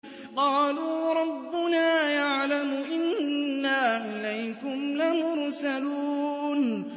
قَالُوا رَبُّنَا يَعْلَمُ إِنَّا إِلَيْكُمْ لَمُرْسَلُونَ